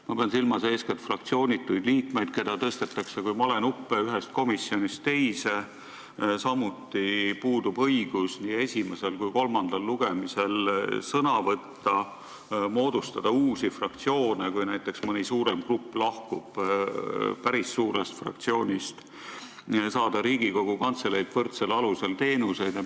Ma pean silmas eeskätt fraktsioonituid liikmeid, keda tõstetakse kui malenuppe ühest komisjonist teise, samuti puudub neil õigus nii esimesel kui ka kolmandal lugemisel sõna võtta ning moodustada uusi fraktsioone, kui näiteks mõni suurem grupp lahkub päris suurest fraktsioonist, ja saada Riigikogu Kantseleilt teistega võrdsel alusel teenuseid.